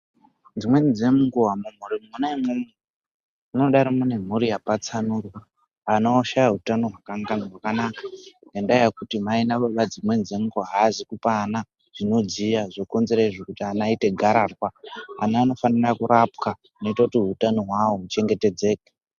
Dzimweni dzenguwa mumphuri mwona umwomwo munodaro munemphuri yapatsanurwa ana oshaya hutano hwakwanaka ngendaya yekuti mai nababa nguwa imweni haazi kupa ana zvinodziya zvinokonzera izvo kuti ana aite gararwa . Ana anofanirwa kurapwa zvinoita kuti hutano hwawo huchengetedzeke.